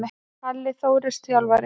Palli Þórs Þjálfari.